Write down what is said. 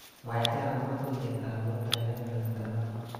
Mwaite akobo tuiyetab mutai kebebertap angwan.